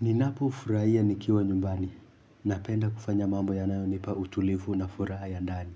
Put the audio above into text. Ninapo furahia nikiwa nyumbani, napenda kufanya mambo yanayo nipa utulivu na furaha ya ndani.